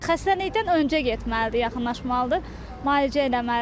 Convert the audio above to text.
Xəstəlikdən öncə getməlidir, yaxınlaşmalıdır, müalicə eləməlidir.